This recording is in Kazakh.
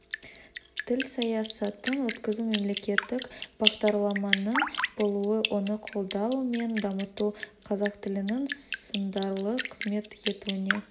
тіл саясатын өткізу мемлекеттік бағдарламаның болуы оны қолдау мен дамыту қазақ тілінің сындарлы қызмет етуіне